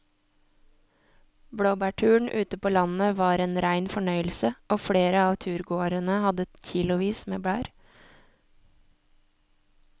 Blåbærturen ute på landet var en rein fornøyelse og flere av turgåerene hadde kilosvis med bær.